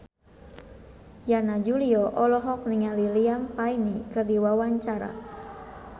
Yana Julio olohok ningali Liam Payne keur diwawancara